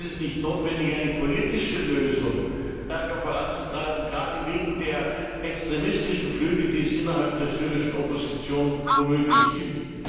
Ist es nicht notwendig, eine politische Lösung stärker voranzutreiben, gerade wegen der extremistischen Flügel, die es innerhalb der syrischen Opposition womöglich gibt?